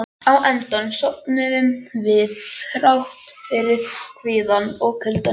Á endanum sofnuðum við, þrátt fyrir kvíðann og kuldann.